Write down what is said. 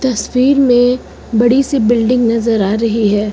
तस्वीर मे बड़ी सी बिल्डिंग नजर आ रही है।